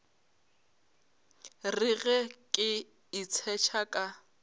re ge ke itshetšha ka